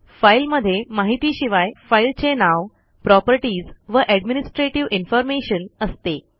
फाईलमध्ये माहितीशिवाय फाईलचे नाव प्रॉपर्टीज व एडमिनिस्ट्रेटिव्ह इन्फॉर्मेशन असते